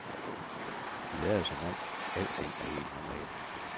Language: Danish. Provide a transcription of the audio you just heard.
De lader som om alting er helt normalt.